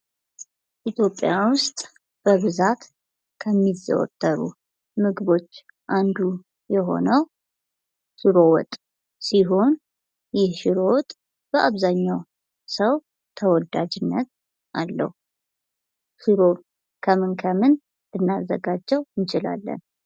ኢትዮጵያ ውስጥ በብዛት ከሚዘወተሩ ምግቦች አንዱ የሆነው ሽሮ ወጥ ሲሆን፤ ይህ ሽሮ ወጥ በአብዛኛው ሰው ተወዳጅነት አለው። ሽሮ ከምን ከምን ልናዘጋጀው እንችላለን?